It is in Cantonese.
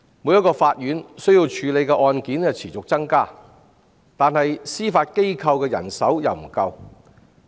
每所法院需要處理的案件持續增加，司法機構的人手卻不足。